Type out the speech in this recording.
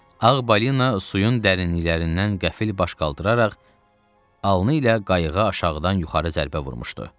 Ağ balina suyun dərinliklərindən qəfil baş qaldıraraq alnı ilə qayığı aşağıdan yuxarı zərbə vurmuşdu.